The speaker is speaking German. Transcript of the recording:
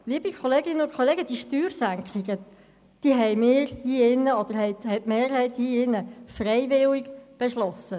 Liebe Kolleginnen und Kollegen, diese Steuersenkungen haben wir hier drinnen respektive die Mehrheit hier drinnen freiwillig beschlossen!